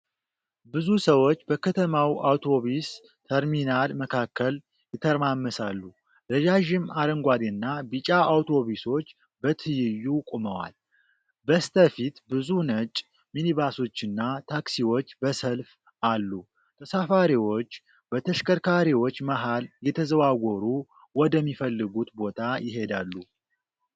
ብዙ ሰዎች በከተማው አውቶቡስ ተርሚናል መካከል ይተረማመሳሉ። ረዣዥም አረንጓዴና ቢጫ አውቶቡሶች በትይዩ ቆመዋል። በስተፊት ብዙ ነጭ ሚኒባሶችና ታክሲዎች በሰልፍ አሉ። ተሳፋሪዎች በተሽከርካሪዎች መሀል እየተዘዋወሩ ወደሚፈልጉት ቦታ ይሄዳሉ።